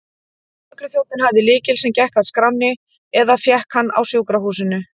Lögregluþjónninn hafði lykil, sem gekk að skránni, eða fékk hann á sjúkrahúsinu.